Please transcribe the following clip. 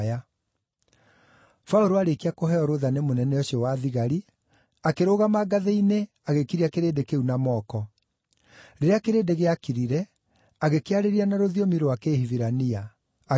Paũlũ aarĩkia kũheo rũũtha nĩ mũnene ũcio wa thigari, akĩrũgama ngathĩ-inĩ agĩkiria kĩrĩndĩ kĩu na moko. Rĩrĩa kĩrĩndĩ gĩakirire, agĩkĩarĩria na rũthiomi rwa Kĩhibirania. Agĩkĩĩra atĩrĩ: